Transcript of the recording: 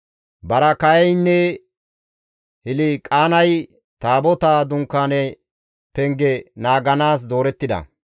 Baraakayeynne Hilqaanay Taabotaa dunkaane penge naaganaas doorettida.